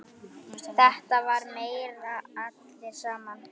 Þetta var meira allir saman.